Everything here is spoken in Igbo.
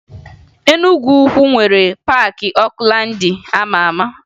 Enugwu nwere Paakị Okulaandị a ma ama